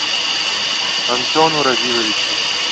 антону равиловичу